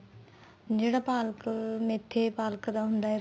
ਜਿਹੜਾ ਪਾਲਕ ਮੇਥੀ ਪਾਲਕ ਦਾ ਹੁੰਦਾ